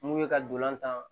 Mun ye ka ntolan tan